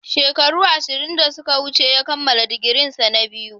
Shekaru ashirin da suka wuce ya kammala digirinsa na biyu.